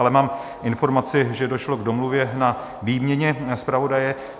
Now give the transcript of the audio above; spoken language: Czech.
Ale mám informaci, že došlo k domluvě na výměně zpravodaje.